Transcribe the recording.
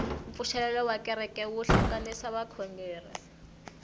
mpfuxelelo wa kereke wu hlanganisa vakhongeri